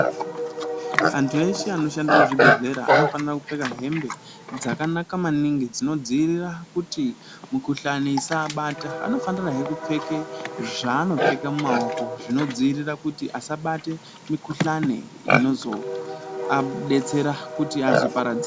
Antu eshe anoshanda muchibhedhlera anofanire kupfeka hembe dzakanaka maningi dzinodziirira kuti mikuhlani isaabata anofanira hee kupfeka zvaanopfeka mumaoko kuti abata mikuhlani.